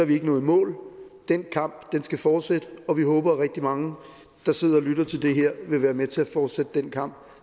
vi ikke nået i mål den kamp skal fortsætte og vi håber at rigtig mange der sidder og lytter til det her vil være med til at fortsætte den kamp